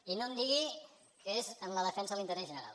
i no em digui que és en la defensa de l’interès general